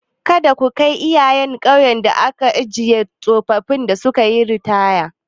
Kada ku kai iyayen ƙauyen da ake ajiye tsofaffin da sukayi ritaya.